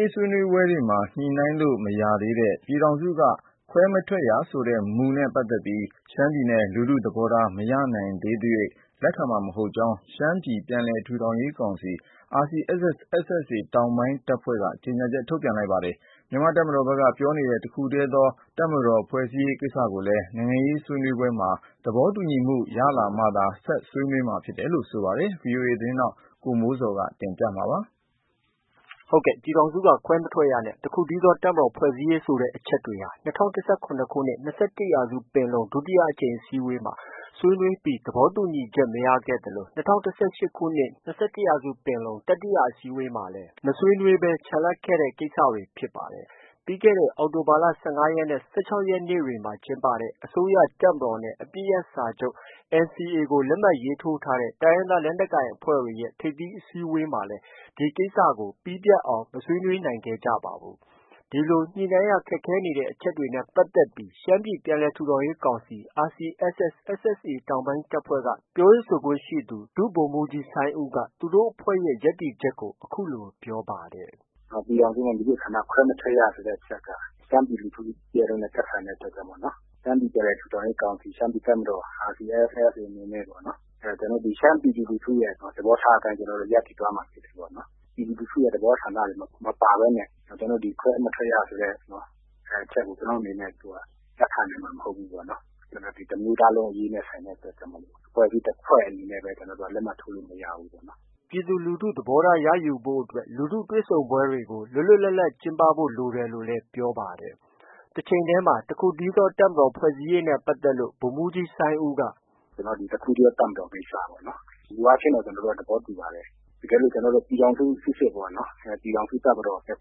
ရေးဆွေးနွေးပွဲတွေမှာ ညှိနှိုင်းလို့ မရသေးတဲ့ ပြည်ထောင်စုက ခွဲမထွက်ရမူနဲ့ပတ်သက်ပြီး ရှမ်းပြည် လူထုသဘောထား မရယူနိုင်သေးသ၍ လက်ခံမှာမဟုတ်ကြောင်း ရှမ်းပြည်ပြန်လည် ထူထောင်ရေးကောင်စီ RCSS- SSA တောင်ပိုင်းတပ်ဖွဲ့က ကြေညာချက် ထုတ်ပြန်ပါတယ်။ မြန်မာ့ တပ်မတော်ဘက်က ပြောနေတဲ့ တခုတည်းသော တပ်မတော် ဖွဲ့စည်းရေးအတွက်မှာလည်း နိုင်ငံရေး ဆွေးနွေးပွဲမှာ သဘောတူညီတဲ့ ရလဒ်တွေ ရလာမှ ဆွေးနွေးမှာဖြစ်တယ်လို့ ပြောပါတယ်။ ဒီသတင်းကို ဗွီအိုအေမြန်မာပိုင်း သတင်းထောက် ကိုမိုးဇော်က တင်ပြထားပါတယ်။ ပြည်ထောင်စုက ခွဲမထွက်ရနဲ့ တခုတည်းသော တပ်မတော်ဖွဲ့စည်းရေး ဆိုတဲ့အချက်တွေဟာ ၂၀၁၇ ခုနှစ် ၂၁ ရာစုပင်လုံ ဒုတိယ အကြိမ်အစည်းအဝေးမှာ ဆွေးနွေးပြီး သဘောတူညီချက် မရခဲ့သလို ၂၀၁၈ ခုနှစ် ၂၁ ရာစုပင်လုံ တတိယအစည်းအဝေးမှာလည်း မဆွေးနွေးဘဲ ချန်လှပ်ခဲ့တဲ့ ကိစ္စတွေ ဖြစ်ပါတယ်။ ပြီးခဲ့တဲ့ အောက် တိုဘာလ ၁၅ ရက် နဲ့ ၁၆ ရက်ေ တွမှာ ကျင်းပတဲ့ အစိုးရ၊ တပ်မတော် နဲ့ အပစ်ရပ်စာချုပ် NCA ကို လက်မှတ် ရေးထိုးထားတဲ့ တိုင်းရင်းသားလက်နက်ကိုင်အဖွဲ့တွေရဲ့ ထိပ်သီးအစည်းအဝေးမှာလည်း ဒီကိစ္စကို ပြီးပြတ် အောင် မဆွေးနွေးနိုင်ခဲ့ကြပါဘူး။ ဒီလို ညှိနှိုင်းရခက်ခဲနေတဲ့ အချက်တွေနဲ့ပတ်သက်ပြီး ရှမ်းပြည်ပြန်လည်ထူထောင်ရေးကောင်စီ RCSS- SSA တောင်ပိုင်းတပ်ဖွဲ့က ပြောရေးဆိုခွင့်ရှိသူ ဒုဗိုလ်မှူးကြီးစိုင်းဦးက သူတို့အဖွဲ့ရဲ့ ရပ်တည် ချက်ကို အခုလို ပြောပါ တယ်။ “ပြည်ထောင်စုက မည်သည့်အခါမှ ခွဲမထွက်ရဆိုတဲ့အချက်က ရှမ်းပြည် ပြည်သူလူထုနဲ့ သက်ဆိုင် တဲ့အတွက် ကြောင့်မို့ ရှမ်းပြည်ပြန်လည်ထူထောင်ရေးကောင်စီ - ရှမ်းပြည်တပ်မတော် RCSS အနေ နဲ့ ရှမ်းပြည်သူလူထုရဲ့ သဘောထားအတိုင်းရပ်တည်သွားမှာဖြစ်တယ်။ ပြည်သူလူထုရဲ့ သဘော ဆန္ဒတွေ မပါဘဲနဲ့ ဒီ ခွဲမထွက်ရဆိုတဲ့ အချက်ကို ကျနော်တို့ လက်ခံနိုင်မှာ မဟုတ်ဘူး ပေါ့နော်။ တစ်မျိုးသားလုံးအရေးနဲ့ ဆိုင်တဲ့ အတွက်ကြောင့်မို့ အဖွဲ့အစည်း တစ်ဖွဲ့အနေနဲ့ ကျနော်တို့ လက်မှတ် ထိုးလို့ မရဘူးပေါ့။” ပြည်သူလူထုသဘောထားကို ရယူဖို့အတွက်လည်း လူထုတွေ့ဆုံပွဲတွေကို လွတ်လွတ်လပ်လပ် ကျင်းပဖို့ လို တယ်လို့ ပြောပါတယ်။ တချိန်တည်းမှာ တစ်ခုတည်းသော တပ်မတော်ဖွဲ့စည်းရေးနဲ့ ပတ်သက်လို့လည်း ဒုဗိုလ်မှူးကြီး စိုင်းဦးက- “တခုတည်းသော တပ်မတော်ကိစ္စက ကျနော်တို့ မူအားဖြင့် သဘောတူပါတယ်။ တကယ်လို့ ကျနော် တို့က ပြည်ထောင်စုစစ်ပေါ့နော်- ပြည်ထောင်စုတပ်မတော်ဖြစ်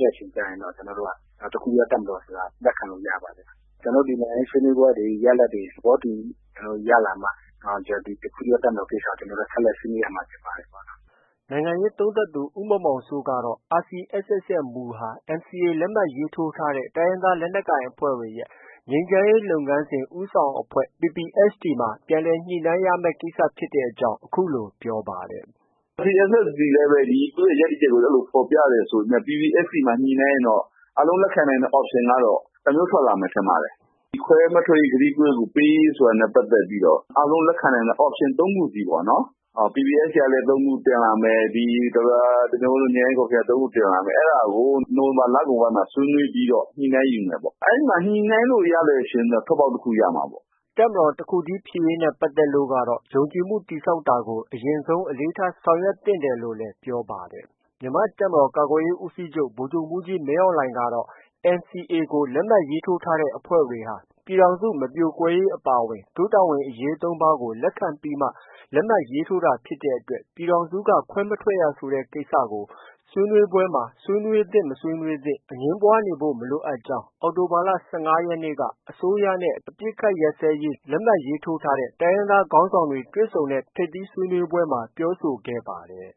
တဲ့ အချိန်ကျရင်တော့ တခုတည်း သောတပ်မတော်ကို လက်ခံလို့ ရပါတယ်။ ကျနော်တို့ နိုင်ငံရေးဆွေးနွေးပွဲတွေ ရလဒ်တွေ သဘော တူညီမှုရလာမှ ဒီ တခုတည်းသော တပ်မတော်ကိစ္စကို ဆက်လက် ဆွေးနွေးရမှာ ဖြစ်ပါတယ်။” နိုင်ငံရေးသုံးသပ်သူ ဦးမောင်မောင်စိုးကတော့ RCSS ရဲ့ မူဟာ NCA လက်မှတ်ထိုးထားတဲ့ တိုင်းရင်း သား လက်နက်ကိုင်အဖွဲ့တွေရဲ့ ငြိမ်းချမ်းရေးလုပ်ငန်းစဉ် ဦးဆောင်အဖွဲ့ PPST မှာ ပြန်လည် ညှိနှိုင်း ရမယ့် ကိစ္စဖြစ်တဲ့ အကြောင်း အခုလို ပြောပါတယ်။ “RCSS သည်လည်းပဲ သူရဲ့ ရပ်တည်ချက်ကို အဲလိုမျိုးဖော်ပြတယ်ဆိုပေမဲ့ PPST မှာ ညှိနှိုင်းရင်တော့ အားလုံး လက်ခံနိုင်တဲ့ option ကတော့ တစ်မျိုးထွက်လာမယ် ထင်ပါတယ်။ ဒီခွဲမထွက်ရေး ကတိကို ပေးရေးဆိုတာနဲ့ ပတ်သက်ပြီးတော့ အားလုံးလက်ခံနိုင်တဲ့ option သုံးခုစီပေါ့နော်။ PPST ကလည်း ၃ ခု တင်လာမယ်၊ ဒေါက်တာ တင်မျိုးဝင်းတို့ ငြိမ်းချမ်းရေးကော်မရှင်က ၃ ခုတင်လာမယ်။ အဲဒါကို နိုဝင်ဘာ လကုန်ပိုင်းမှာ ဆွေးနွေးပြီးတော့ ညှိနှိုင်းယူမယ်ပေါ့။ အဲဒီမှာ ညှိနှိုင်းလို့ ရရင်တော့ ထွက်ပေါက်တခုရမှာပေါ့။” တပ်မတော်တစ်ခုတည်းဖြစ်ရေးနဲ့ပတ်သက်လို့ကတော့ ယုံကြည်မှုတည်ဆောက်တာကို အရင်ဆုံး အလေးထား ဆောင်ရွက်သင့်တယ်လို့လည်း ပြောပါတယ်။ မြန်မာ့တပ်မတော်ကာကွယ်ရေး ဦးစီးချုပ် ဗိုလ်ချုပ်မှူးကြီးမင်းအောင်လှိုင်ကတော့ NCA အပစ်ရပ်စဲ ရေး လက်မှတ်ထိုးထားတဲ့ အဖွဲ့တွေဟာ ပြည်ထောင်စု မပြိုကွဲရေးအပါအဝင် တို့တာဝန်အရေး သုံးပါးကို လက်ခံပြီးမှ လက်မှတ်ရေးထိုးတာဖြစ်တဲ့အတွက် ပြည်ထောင်စုက ခွဲမထွက်ရ ဆိုတဲ့ ကိစ္စကို ဆွေးနွေးပွဲမှာ ဆွေးနွေးသင့် မဆွေးနွေးသင့် အငြင်းပွားနေဖို့ မလိုအပ်ကြောင်း အောက်တို ဘာလ ၁၅ ရက်နေ့က အစိုးရနဲ့ အပစ်အခတ် ရပ်စဲရေး လက်မှတ်ရေးထိုးထားတဲ့ တိုင်းရင်းသား ခေါင်းဆောင်များ တွေ့ဆုံတဲ့ ထိပ်သီးဆွေးနွေးပွဲမှာ ပြောဆိုခဲ့ ပါတယ်